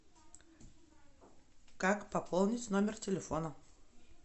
как пополнить номер телефона